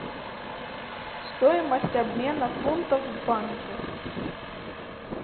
стоимость обмена фунтов в банке